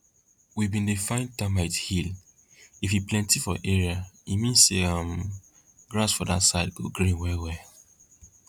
we bin dey find termite hill if e plenty for area e mean say um grass for that side go green well well